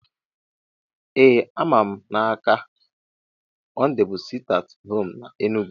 Ee ama m n’aka, Mọnde bu siti at home na Enugu